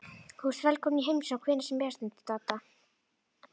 Þú ert velkominn í heimsókn hvenær sem er stundi Dadda.